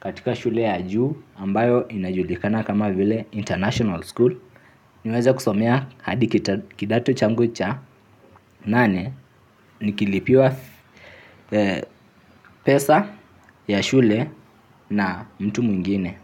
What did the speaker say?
katika shule ya juu ambayo inajulikana kama vile international school. Niweze kusomea hadi kidato changu cha nane nikilipiwa pesa ya shule na mtu mwingine.